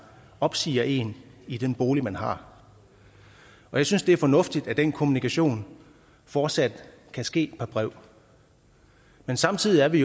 opsiger en i den bolig man har jeg synes det er fornuftigt at den kommunikation fortsat kan ske per brev men samtidig er vi